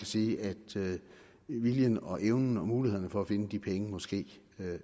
sige at viljen og evnen og muligheden for at finde de penge måske